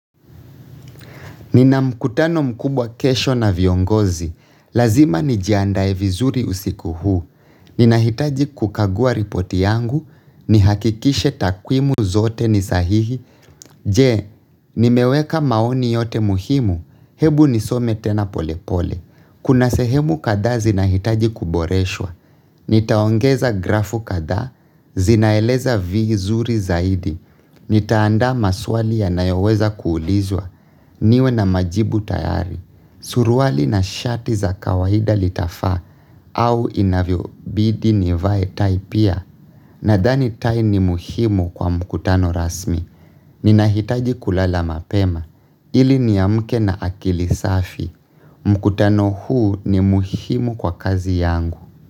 Nina mkutano mkubwa kesho na viongozi. Lazima nijiandae vizuri usiku huu. Ninahitaji kukagua ripoti yangu. Nihakikishe takwimu zote ni sahihi. Je, nimeweka maoni yote muhimu. Hebu nisome tena polepole. Kuna sehemu kadhaa zinahitaji kuboreshwa, nitaongeza grafu kadhaa, zinaeleza viizuri zaidi, nitaanda maswali yanayoweza kuulizwa, niwe na majibu tayari, suruali na shati za kawaida litafaa au inavyobidi nivae tai pia, nadhani tai ni muhimu kwa mkutano rasmi. Ninahitaji kulala mapema ili niamke na akili safi mkutano huu ni muhimu kwa kazi yangu.